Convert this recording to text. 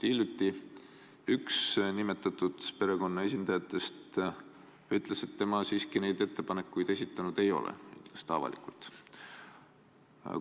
Hiljuti ütles üks nimetatud perekonna esindaja, et tema siiski neid ettepanekuid esitanud ei ole, vähemalt avalikult mitte.